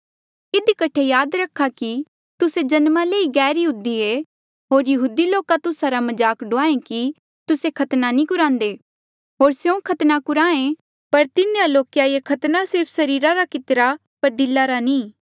इधी कठे याद करा कि तुस्से जन्मा ले ही गैरयहूदी ऐें होर यहूदी लोका तुस्सा रा मजाक ड़ुआयें कि तुस्से खतना नी कुरांदे होर स्यों खतना कुराहें पर तिन्हें लोके ये खतना सिर्फ सरीरा रा कितिरा पर दिला रा नी